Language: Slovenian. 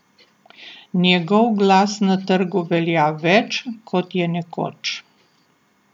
Njegov glas na trgu velja več, kot je nekoč.